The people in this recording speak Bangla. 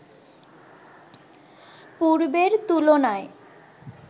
পূর্বের তুলনায়